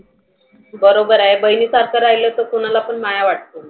बरोबर आहे. बहिनी सारख राहिल तर कुणालापण माया वाटतो.